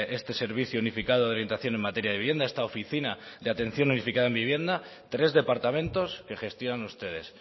este servicio unificado de orientación en materia de vivienda esta oficina de atención unificada en vivienda tres departamentos que gestionan ustedes